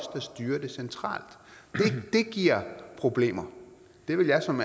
der styrer det centralt det giver problemer det vil jeg som